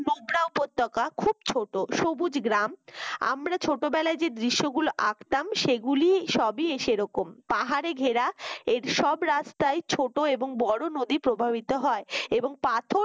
উপত্যকা খুব ছোট সবুজ গ্রাম আমরা ছোটবেলায় যে দৃশ্যগুলো আঁকতাম সেগুলি সবই সেরকম পাহাড়ে ঘেরা এর সব রাস্তা ছোট এবং বড় নদী প্রবাহিত হয় এবং পাথরের